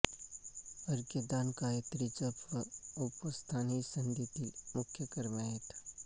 अर्घ्यदान गायत्री जप व उपस्थान ही संध्येतील मुख्य कर्मे आहेत